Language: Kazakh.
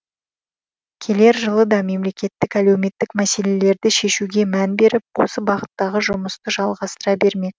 келер жылы да мемлекеттік әлеуметтік мәселелерді шешуге мән беріп осы бағыттағы жұмысты жалғастыра бермек